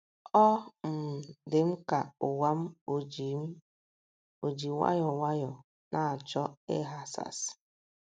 Ọ um dị m ka ụwa m ò ji m ò ji nwayọọ nwayọọ na - achọ ịghasasị.